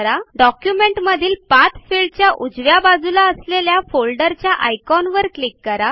डॉक्युमेटमधील पाठ फिल्डच्या उजव्या बाजूला असलेल्या फोल्डरच्या आयकॉनवर क्लिक करा